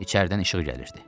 İçəridən işıq gəlirdi.